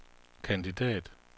kandidat